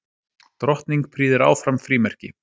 Drottning prýðir áfram frímerki